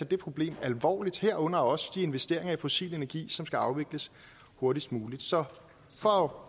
det problem alvorligt herunder også de investeringer i fossil energi som skal afvikles hurtigst muligt så for